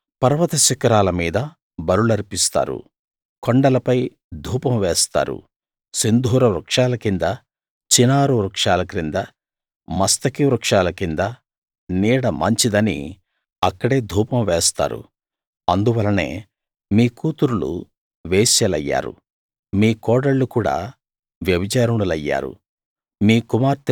వారు పర్వత శిఖరాల మీద బలులర్పిస్తారు కొండలపై ధూపం వేస్తారు సింధూర వృక్షాల కింద చినారు వృక్షాల కింద మస్తకి వృక్షాల కింద నీడ మంచిదని అక్కడే ధూపం వేస్తారు అందువలనే మీ కూతుర్లు వేశ్యలయ్యారు మీ కోడళ్ళు కూడా వ్యభిచారిణులయ్యారు